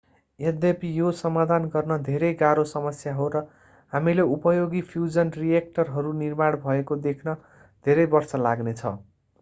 यद्यपि यो समाधान गर्न धेरै गाह्रो समस्या हो र हामीले उपयोगी फ्यूजन रिएक्टरहरू निर्माण भएको देख्न धेरै वर्ष लाग्ने छ